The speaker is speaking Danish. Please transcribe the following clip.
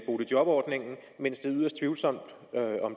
boligjobordningen mens det er yderst tvivlsomt om